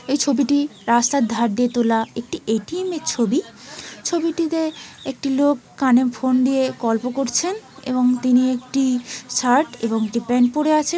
এই ছবিটি রাস্তার ধার দিয়ে তোলা একটি এ টি এম.. এর ছবি। ছবিটিতে একটি লোক কানে ফোন দিয়ে গল্প করছেন। এবং তিনি একটি শার্ট এবং একটি প্যান্ট পড়ে আছেন।